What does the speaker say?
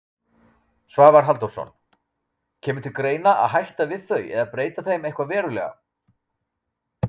Svavar Halldórsson: Kemur til greina að hætta við þau eða breyta þeim eitthvað verulega?